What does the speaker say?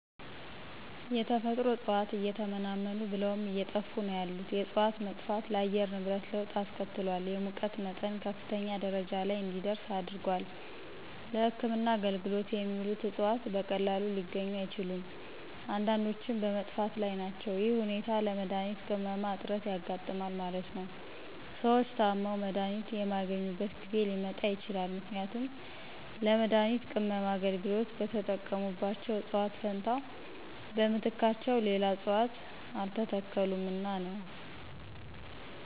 የተፈጥሮ እጽዋት እየተመናመኑ ብለውም አየጠፉ ነው ያሉት የእጽዋት መጥፋት ለአየር ንብረት ለወጥ አስከትሏል የሙቀት መጠን ከፍተኛ ደረጃ ለይ እንዲደርስ አድርጓል። ለህክምና አገልግሎት የሚውሉት እጽዋት በቀላሉ ሊገኙ አይችሉም። አንዳንዶችም በመጥፋት ላይ ናቸው ይህ ሁኔታ ለመድሀኒት ቅመማ እጥረት ያጋጥማል ማለት ነው። ሰዎች ታመው መድሀኒት የማያገኙበት ጊዜ ሊመጣ ይችላል ምክንያቱም ለመድሀኒት ቅመማ አገልግሎት በተጠቀሙባቸው እጽዋት ፈንታ በምትካቸው ሌላ እጽዋት አልተተከሉምና ነው።